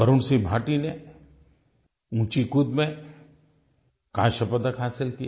Varun C Bhati ने ऊँची कूद में काँस्य पदक हासिल किया